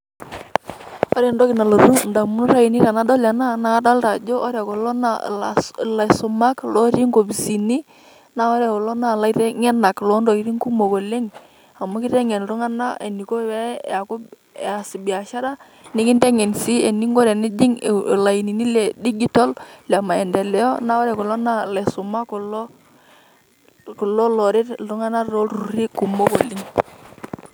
Ore entoki nalotu indamunot ainei tenadol ena, naa kadolta ajo ore kulo na ilaisumak lotii inkopisini. Na ore kulo naa ilaiteng'enak lontokiting' kumok oleng',amu kiteng'en iltung'anak eniko pe eku eas biashara, nikinteng'en si eninko enijing' ilainini le digital, le maendeleo. Na ore kulo na laisumak kulo loret iltung'anak tolturrurri kumok oleng'.